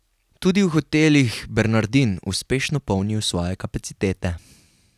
Tudi v hotelih Bernardin uspešno polnijo svoje kapacitete.